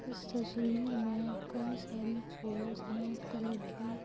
इस तस्वीर में कई सारी चेयर्स है कलर की।